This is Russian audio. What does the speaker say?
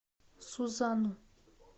сузану